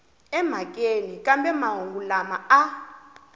emhakeni kambe mahungu lama a